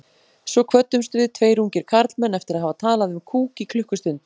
Svo kvöddumst við, tveir ungir karlmenn, eftir að hafa talað um kúk í klukkustund.